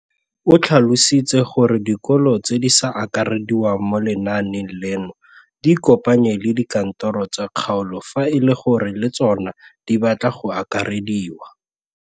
O tlhalositse gore dikolo tse di sa akarediwang mo lenaaneng leno di ikopanye le dikantoro tsa kgaolo fa e le gore le tsona di batla go akarediwa.